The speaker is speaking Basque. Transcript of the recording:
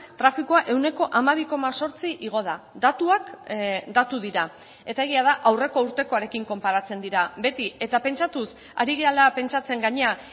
trafikoa ehuneko hamabi koma zortzi igo da datuak datu dira eta egia da aurreko urtekoarekin konparatzen dira beti eta pentsatuz ari garela pentsatzen gainera